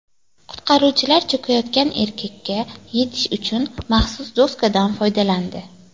Qutqaruvchilar cho‘kayotgan erkakka yetish uchun maxsus doskadan foydalandi.